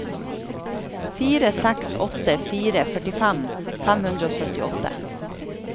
fire seks åtte fire førtifem fem hundre og syttiåtte